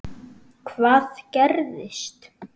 Hvað gerðist?